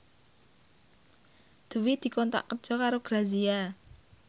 Dwi dikontrak kerja karo Grazia